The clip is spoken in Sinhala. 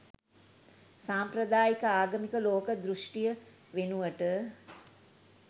සාම්ප්‍රදායික ආගමික ලෝක දෘෂ්ටිය වෙනුවට